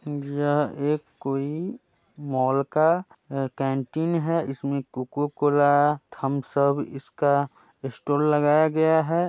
यह एक कोई मॉल का कैंटीन है इसमें कोका-कोला थमसब इसका स्टॉल लगाया गया है।